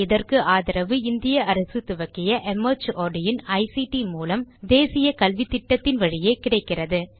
இதற்கு ஆதரவு இந்திய அரசு துவக்கிய மார்ட் இன் ஐசிடி மூலம் தேசிய கல்வித்திட்டத்தின் வழியே கிடைக்கிறது